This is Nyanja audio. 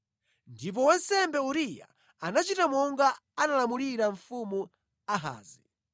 Ndipo wansembe Uriya anachita monga analamulira Mfumu Ahazi.